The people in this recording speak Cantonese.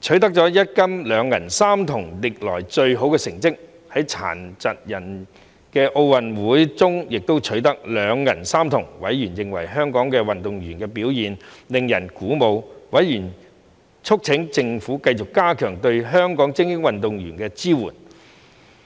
取得一金、兩銀、三銅歷來最好的成績；在殘疾人奧運會中亦取得兩銀三銅，委員認為香港運動員的表現令人鼓舞，促請政府繼續加強對香港精英運動員的支援。